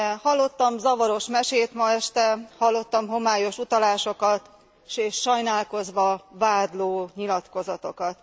Hallottam zavaros mesét ma este, hallottam homályos utalásokat és sajnálkozva vádló nyilatkozatokat.